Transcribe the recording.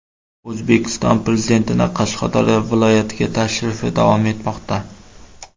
O‘zbekiston Prezidentining Qashqadaryo viloyatiga tashrifi davom etmoqda.